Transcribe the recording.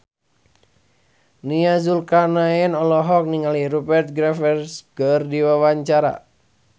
Nia Zulkarnaen olohok ningali Rupert Graves keur diwawancara